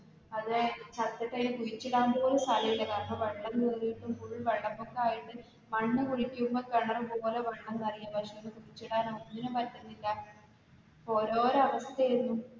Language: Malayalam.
അതെ, ചത്തിട്ട് കുഴിച്ചിടാൻ പോലും സ്ഥലമില്ല കാരണം വെള്ളം കയറിട്ട് full വെള്ളപൊക്കമായിട്ട് മണ്ണുകുഴിക്കുമ്പോൾ കിണറുപോലെ വെള്ളമായിരുന്നു. പക്ഷെ അതിനെ കുഴിച്ചിടാൻ ഒന്നിനും പറ്റുന്നില്ല ഓരോരോ അവസ്ഥായിരുന്നു.